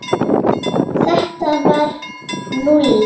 Þetta var Lúlli.